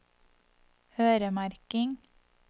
øremerking